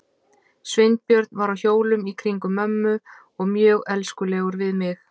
Sveinbjörn var á hjólum í kringum mömmu og mjög elskulegur við mig.